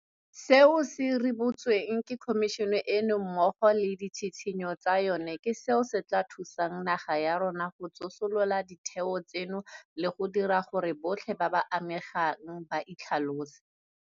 Seo se ribolotsweng ke Khomišene eno mmogo le ditshitshinyo tsa yona ke seo se tla thusang naga ya rona go tsosolosa ditheo tseno le go dira gore botlhe ba ba amegang ba itlhalose.